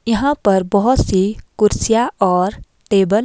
यहां पर बहुत सी कुर्सियां और टेबल --